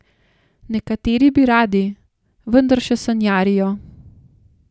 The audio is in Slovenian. Nekateri bi radi, vendar še sanjarijo.